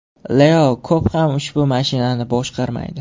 Leo ko‘p ham ushbu mashinani boshqarmaydi.